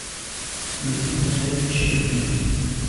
андрей мусаевич щербинин